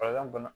bana